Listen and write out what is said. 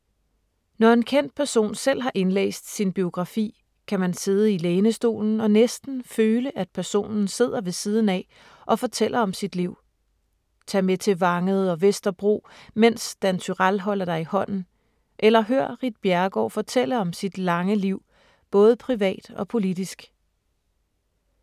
Når en kendt person selv har indlæst sin biografi, kan man sidde i lænestolen og næsten føle, at personen sidder ved siden af og fortæller om sit liv. Tag med til Vangede og Vesterbro, mens Dan Turèll holder dig i hånden, eller hør Ritt Bjerregaard fortælle om sit lange liv, både privat og politisk.